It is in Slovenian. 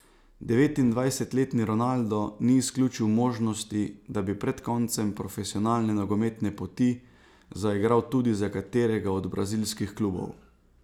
Devetindvajsetletni Ronaldo ni izključil možnosti, da bi pred koncem profesionalne nogometne poti zaigral tudi, za katerega od brazilskih klubov.